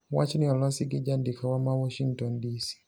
Wachni olosi gi jandikowa ma Washington, DC.